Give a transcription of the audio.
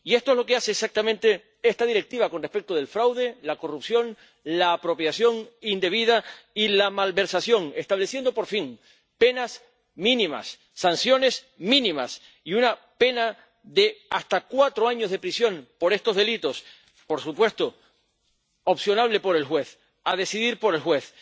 Y esto es lo que hace exactamente esta Directiva con respecto del fraude, la corrupción, la apropiación indebida y la malversación, estableciendo, por fin, penas mínimas, sanciones mínimas y una pena de hasta cuatro años de prisión por estos delitos —por supuesto, opcional para el juez, a decidir por el juez—.